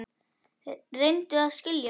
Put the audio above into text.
Reyndu að skilja mig.